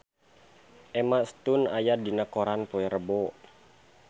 Emma Stone aya dina koran poe Rebo